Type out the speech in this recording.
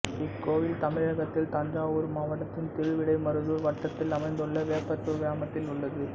இக்கோவில் தமிழகத்தில் தஞ்சாவூர் மாவட்டத்தின் திருவிடைமருதூர் வட்டத்தில் அமைந்துள்ள வேப்பத்தூர் கிராமத்தில் உள்ளது